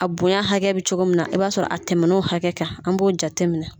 A bonya hakɛ bɛ cogo min na i b'a sɔrɔ a tɛmɛna o hakɛ kan an b'o jate minɛ.